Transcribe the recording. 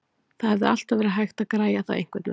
Það hefði alltaf verið hægt að græja það einhvernveginn.